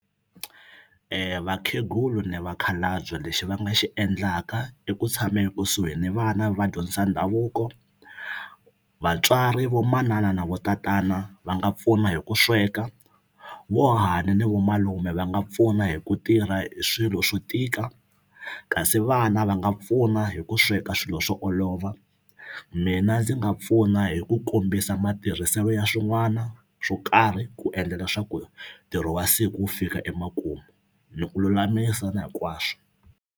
Vakhegula ni vakhalabye lexi va nga xi endlaka iku tshama ekusuhi ni vana va dyondzisa ndhavuko vatswari vo manana na vo tatana va nga pfuna hi ku sweka vo hahani ni vo malume va nga pfuna hi ku tirha hi swilo swo tika kasi vana va nga pfuna hi ku sweka swilo swo olova mina ndzi nga pfuna hi ku kombisa matirhiselo ya swin'wana swo karhi ku endla leswaku ntirho wa siku wu fika emakumu ni ku lulamisa na hinkwaswo.